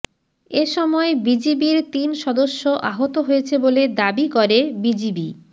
এসময় বিজিবির তিন সদস্য আহত হয়েছে বলে দাবি করে বিজিবি